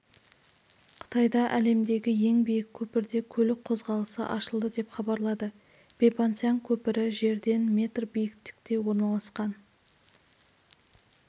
қытайда әлемдегі ең биік көпірде көлік қозғалысы ашылды деп хабарлады бэйпаньцзян көпірі жерден метр биіктікте орналасқан